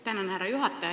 Tänan, härra juhataja!